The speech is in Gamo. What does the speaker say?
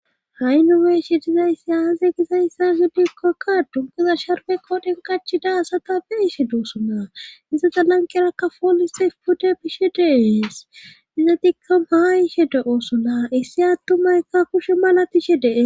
Ha'i nu beshe dizayssi haaze gizayssa zi dikkokka dunkuza sharwe kooden kachi daasa ta be ishe duusuna iza za lankerakka folise pude bishe deees iza dikkam haa ishe de oosuna issi attumayka kushe mala tishe dee